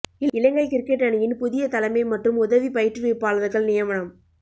இலங்கை cricket அணியின் புதிய தலமை மற்றும் உதவி பயிற்றுவிப்பாளர்கள் நியமனம்